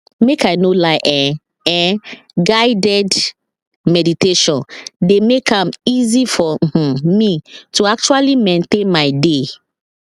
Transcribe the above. make i no lie [um][um]guided meditation dey make am easy for um me to actually maintain my dey